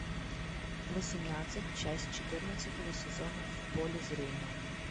восемнадцать часть четырнадцатого сезона в поле зрения